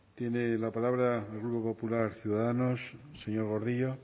tiene la palabra el grupo popular ciudadanos señor gordillo